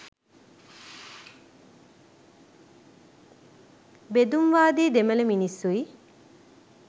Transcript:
බෙදුම්වාදී දෙමළ මිනිස්‌සුයි